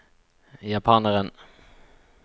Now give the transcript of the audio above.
japaneren